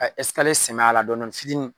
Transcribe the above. Ɛ sɛmɛ a la dɔɔnin dɔɔnin fitinin